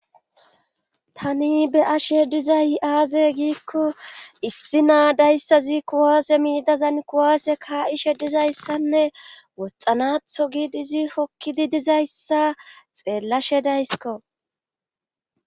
Tani be ashe dizay aaze giikko issi naa dayssa ziikko waase miidazan kuwaase kaa7ishe dizayssanne woxanatho giid izi hokkidi dizayssa xeellashe daysiko